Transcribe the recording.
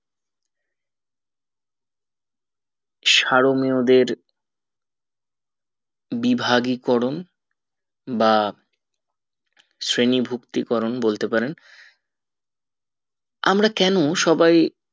সারোমীয়দের বিভাগী করণ বা শ্রেণী ভুক্তি করণ বলতে পারেন আমরা কেন সবাই